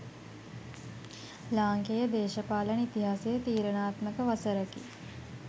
ලාංකේය දේශපාලන ඉතිහාසයේ තීරණාත්මක වසරකි